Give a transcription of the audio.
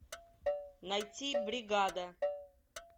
найти бригада